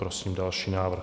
Prosím další návrh.